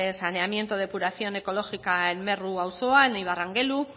saneamiento depuración ecológica en merrua auzoa en ibarrangelu